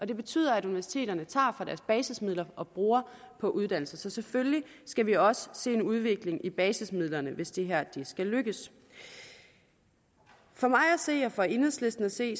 det betyder at universiteterne tager fra deres basismidler og bruger på uddannelse så selvfølgelig skal vi også se en udvikling i basismidlerne hvis det her skal lykkes for mig at se og for enhedslisten at se